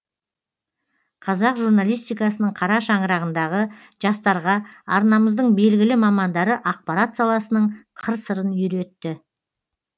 қазақ журналистикасының қара шаңырағындағы жастарға арнамыздың белгілі мамандары ақпарат саласының қыр сырын үйретті